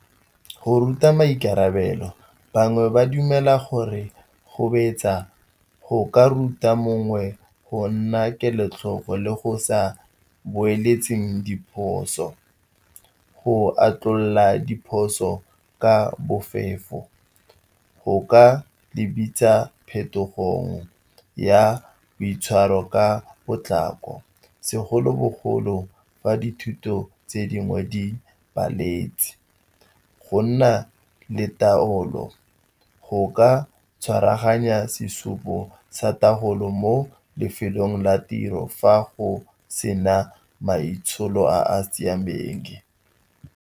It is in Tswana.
Go ruta maikarabelo, bangwe ba dumela gore go betsa go ka ruta mongwe go nna kelotlhoko le go sa boeletseng diphoso. Go atlhola diphoso ka bofefo go ka di bitsa phetogong ya boitshwaro ka potlako, segolobogolo fa dithuto tse dingwe di paletse. Go nna le taolo go ka tshwaraganya sesupo sa taolo mo lefelong la tiro fa go sena maitsholo a a siameng.